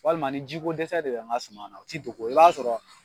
Walima ni ji ko dɛsɛ de bɛ n ka suma na u tɛ dogo i b'a sɔrɔ